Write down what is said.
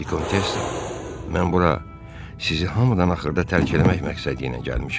Vikontessa, mən bura sizi hamıdan axırda tərk eləmək məqsədi ilə gəlmişəm.